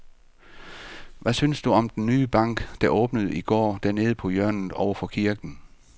Hvad synes du om den nye bank, der åbnede i går dernede på hjørnet over for kirken?